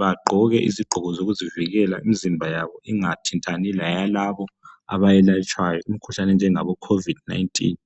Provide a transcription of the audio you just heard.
Bagqoke izigqoko zokuzivikela imzimba yabo ingathintani leyalabo abayelatshwayo imkhuhlane enjengabo covid 19.